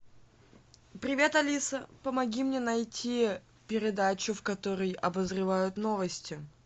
привет алиса помоги мне найти передачу в которой обозревают новости